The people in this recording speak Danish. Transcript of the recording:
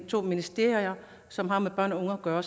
to ministerier som har med børn og unge at gøre